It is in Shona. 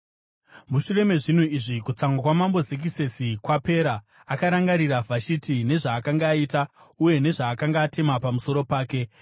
Mushure mezvinhu izvi kutsamwa kwamambo Zekisesi kwapera, akarangarira Vhashiti nezvaakanga aita uye nezvaakanga atema pamusoro pake.